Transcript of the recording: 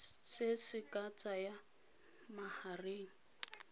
se se ka tsayang magareng